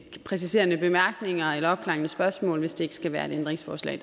præciserende bemærkninger eller opklarende spørgsmål hvis det ikke skal være et ændringsforslag